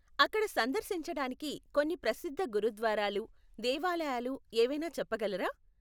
అక్కడ సందర్శించటానికి కొన్ని ప్రసిద్ధ గురుద్వారాలు, దేవాలయాలు ఏవైనా చెప్పగలరా?